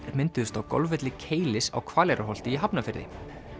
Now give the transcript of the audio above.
mynduðust á golfvelli Keilis á Hvaleyrarholti í Hafnarfirði